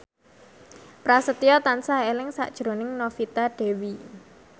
Prasetyo tansah eling sakjroning Novita Dewi